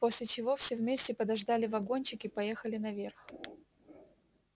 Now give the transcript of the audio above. после чего все вместе подождали вагончик и поехали наверх